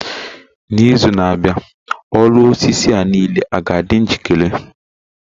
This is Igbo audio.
N'izu na-abịa, ọrụ osisi niile a ga-adị njikere?